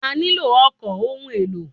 A nílò ọkọ̀ ohun èlò.